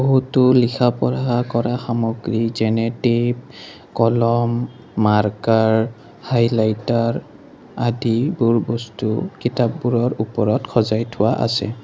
বহুতো লিখা পঢ়া কৰা সামগ্ৰী যেনে টেপ কলম মাৰ্কাৰ হাইলাইটাৰ আদি বোৰ বস্তু কিতাপবোৰৰ ওপৰত সজাই থোৱা আছে।